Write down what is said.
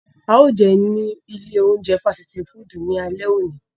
Ao jeun ni ile ounjẹ fasiti fudu ni ale oni.